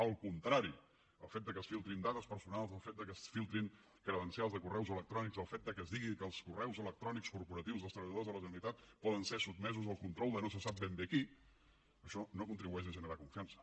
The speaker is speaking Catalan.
al contrari el fet que es filtrin dades personals el fet que es filtrin credencials de correus electrònics el fet que es digui que els correus electrònics corporatius dels treballadors de la generalitat poden ser sotmesos al control de no se sap ben bé qui això no contribueix a generar confiança